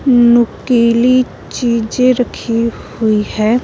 नुकीली चीजें रखी हुई है।